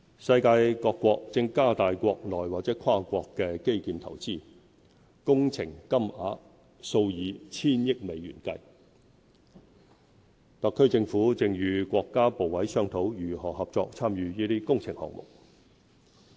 世界各國正加大國內或跨國基建投資，工程金額數以千億美元計，特區政府正與國家部委商討如何合作參與這些工程項目。